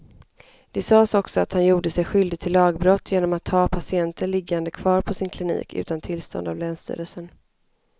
Det sades också att han gjorde sig skyldig till lagbrott genom att ha patienter liggande kvar på sin klinik utan tillstånd av länsstyrelsen.